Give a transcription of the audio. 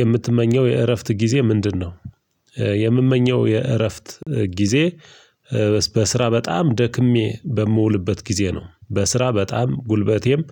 የምትመኘው የእረፍት ጊዜ ምንድነው? የምመኘው የእረፍት ጊዜ በስራ በጣም ደክሜ በምውልበት ጊዜ ነው በስራ በጣም ጉልበቴም